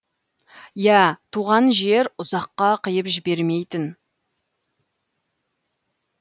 иә туған жер ұзаққа қиып жібермейтін